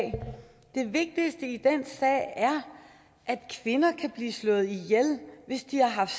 det vigtigste i den sag er at kvinder kan blive slået ihjel hvis de har haft